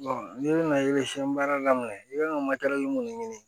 n'i bɛna baara daminɛ i bɛ ka mun ɲini